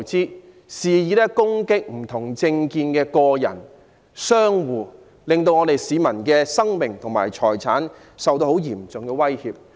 他們肆意攻擊不同政見的人士及商戶，令市民的生命和財產受到嚴重威脅。